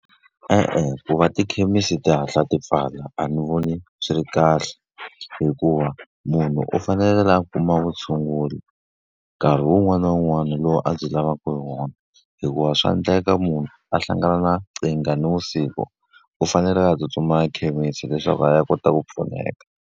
E-e ku va tikhemisi ti hatla ti pfala a ni voni swi ri kahle. Hikuva munhu u fanekele a kuma vutshunguri nkarhi wun'wana na wun'wana lowu a byi lavaka hi wona. Hikuva swa endleka munhu a hlangana na nkingha ni vusiku, u fanekele a tsutsumela ekhemisi leswaku a ya kota ku pfuneka.